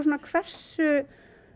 hversu